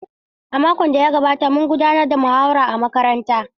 A makon da ya gabata, mun gudanar da muhawara a makarantara.